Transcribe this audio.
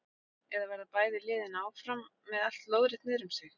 Eða verða bæði liðin áfram með allt lóðrétt niðrum sig?